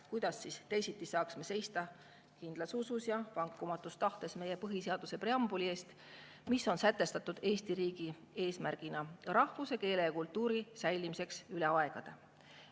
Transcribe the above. Kuidas teisiti saaksime seista kindlas usus ja vankumatus tahtes meie põhiseaduse preambuli eest, kus on sätestatud Eesti riigi eesmärgina rahvuse, keele ja kultuuri säilimine üle aegade.